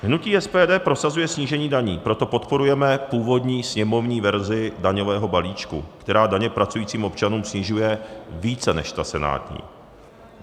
Hnutí SPD prosazuje snížení daní, proto podporujeme původní sněmovní verzi daňového balíčku, která daně pracujícím občanům snižuje více než ta senátní.